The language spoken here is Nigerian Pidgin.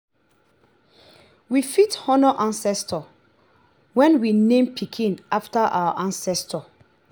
we fit honor ancestor when we name pikin after our ancestor